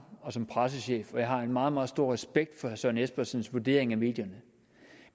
som pressechef og jeg har meget meget stor respekt for herre søren espersens vurdering af medierne